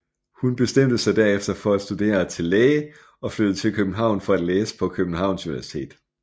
Hun bestemte sig derefter for at studere til læge og flyttede til København for at læse på Københavns Universitet